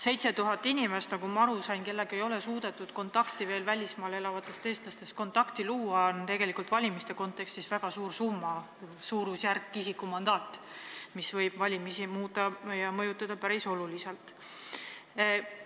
7000 välismaal elavat inimest, nagu ma aru sain, kellega ei ole suudetud veel kontakti luua, on valimiste kontekstis väga suur arv, see on isikumandaadi suurusjärk, mis võib valimistulemusi päris oluliselt muuta ja mõjutada.